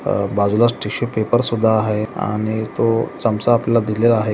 अं बाजूलाच tissue paper सुद्धा आहे आणि तो चमचा आपल्याला दिलेला आहे.